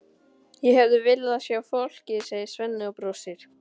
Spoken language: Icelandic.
Ég hefði viljað sjá fólkið, segir Svenni og brosir.